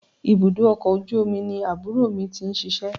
Ibùdó ọkọ̀ ojú omi ni àbúrò mi ti ń ṣíṣe.